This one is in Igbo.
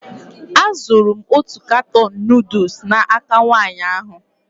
Azụrụ m otu katọn nuduls n'aka nwaanyị ahụ.